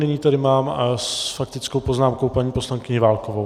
Nyní tady mám s faktickou poznámkou paní poslankyni Válkovou.